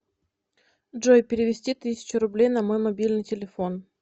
джой перевести тысячу рублей на мой мобильный телефон